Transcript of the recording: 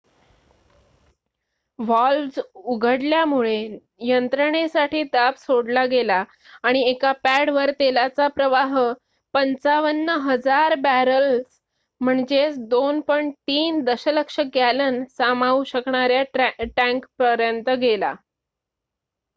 valves उघडल्यामुळे यंत्रणेसाठी दाब सोडला गेला आणि एका पॅडवर तेलाचा प्रवाह ५५,००० बॅरल्स २.३ दशलक्ष गॅलन सामावू शकणाऱ्या टँकपर्यंत गेला